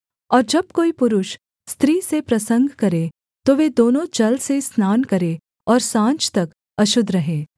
और जब कोई पुरुष स्त्री से प्रसंग करे तो वे दोनों जल से स्नान करें और साँझ तक अशुद्ध रहें